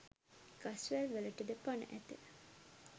ගස්වැල් වලටද පණ ඇත.